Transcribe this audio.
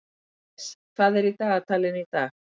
Jes, hvað er í dagatalinu í dag?